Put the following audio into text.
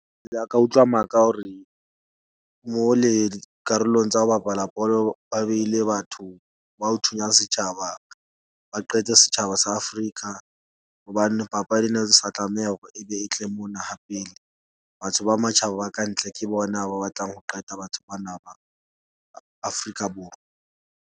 Ke ile ka utlwa maka hore mole karolong tsa ho bapala bolo, ba beile batho ba ho thunya setjhaba. Ba qete setjhaba sa Afrika hobane papadi ena e sa tlameha hore ebe e tle mona ha pele. Batho ba matjhaba ba kantle ke bona ba batlang ho qeta batho bana ba Afrika Borwa.